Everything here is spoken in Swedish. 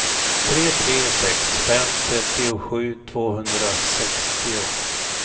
tre tre sex fem trettiosju tvåhundrasextio